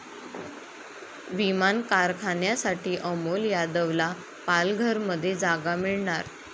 विमान कारखान्यासाठी अमोल यादवला पालघरमध्ये जागा मिळणार